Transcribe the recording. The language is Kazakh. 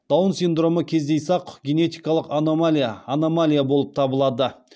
даун сидромы кездейсақ генетикалық аномалия аномалия болып табылады